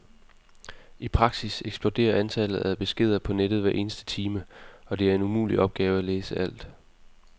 I praksis eksploderer antallet af beskeder på nettet hver eneste time og det er en umulig opgave at læse alt.